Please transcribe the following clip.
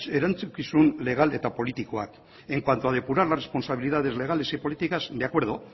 erantzukizun legal eta politikoak en cuanto a depurar las responsabilidades legales y políticas de acuerdo